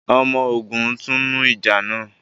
ọmọ ògún tunu ìjà nà